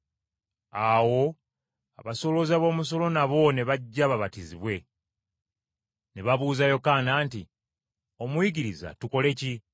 Awo abasolooza b’omusolo nabo, ne bajja babatizibwe. Ne babuuza Yokaana nti, “Omuyigiriza tukole ki?”